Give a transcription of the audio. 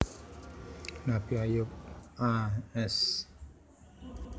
Nabi Ayub a s